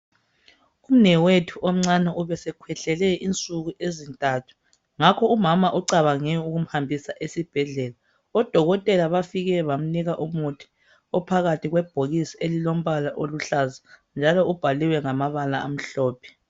Umnewethu omncane ubesekhwehlele insuku ezintathu ngakho umama ucabange ukumhambisa esibhedlela. Odokotela bafike bamnika umuthi ophakathi kwebhokisi elilombala okuhlaza njalo ubhaliwe ngamabala amhlophe.